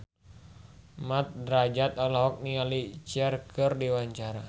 Mat Drajat olohok ningali Cher keur diwawancara